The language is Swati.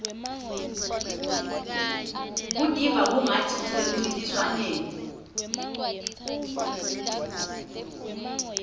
kutiva kungatsi usemcintiswaneni